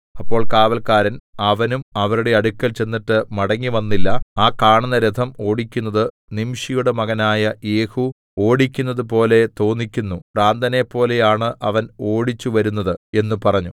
അപ്പോൾ കാവല്ക്കാരൻ അവനും അവരുടെ അടുക്കൽ ചെന്നിട്ട് മടങ്ങിവന്നിട്ടില്ല ആ കാണുന്ന രഥം ഓടിക്കുന്നത് നിംശിയുടെ മകനായ യേഹൂ ഓടിക്കുന്നതുപോലെ തോന്നിക്കുന്നു ഭ്രാന്തനപ്പോലെയാണ് അവൻ ഓടിച്ചുവരുന്നത് എന്ന് പറഞ്ഞു